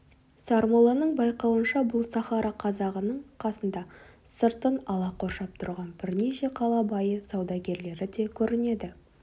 сармолланың байқауынша бұл сахара қазағының қасында сыртын ала қоршап тұрған бірнеше қала байы саудагерлері де көрінеді